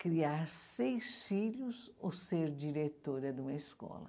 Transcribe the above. Criar seis filhos ou ser diretora de uma escola?